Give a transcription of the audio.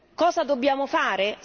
Cosa dobbiamo fare?